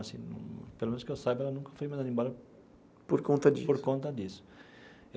Assim pelo menos que eu saiba, ela nunca foi mandada embora. Por conta disso. Por conta disso.